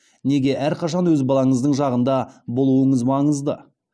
неге әрқашан өз балаңыздың жағында болуыңыз маңызды